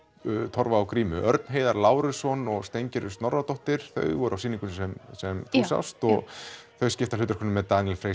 Torfa og grímu Örn Heiðar Lárusson og Snorradóttir þau voru á sýningunni sem þú sást og þau skipta hlutverkum með Daníel Frey